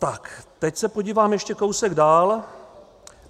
Tak teď se podívám ještě kousek dál.